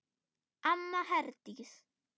Amma Herdís.